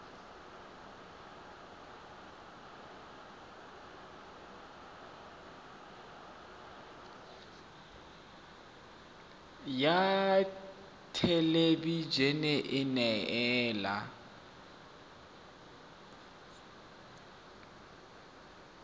ya thelebi ene e neela